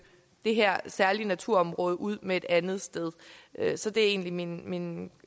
det her særlige naturområde ud med et andet sted så det er egentlig min min